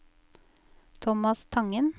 Tomas Tangen